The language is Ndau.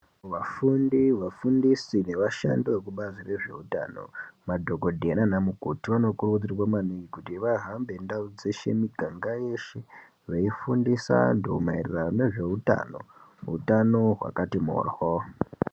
Vafundi vafundisi nevashandi vekubazi rezveutano madhokodhera naanamukoti vanokurudzirwa maningi kuti vahamba ndau dzeshe miganga yeshe veifundisa antu maerano nezveutano utano wakati mboryo.